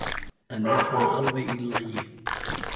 En er hann alveg í lagi?